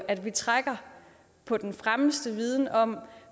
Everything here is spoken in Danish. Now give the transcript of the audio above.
at vi trækker på den fremmeste viden om